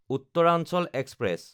Uttaranchal express